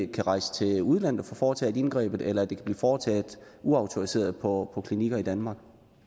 kan rejse til udlandet og få foretaget indgrebet eller at det kan blive foretaget uautoriseret på klinikker i danmark